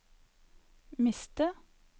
miste